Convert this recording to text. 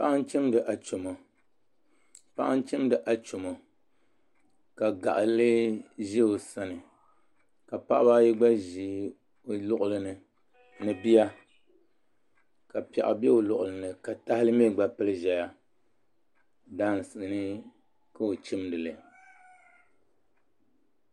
Paɣa n chimdi achomo ka gaɣali ʒɛ o sani ka paɣaba ayi gba ʒi o luɣuli ni ni bia ka piɛɣu bɛ o luɣuli ni ka tahali mii gba pili ʒɛya daansi ni ka o chimdili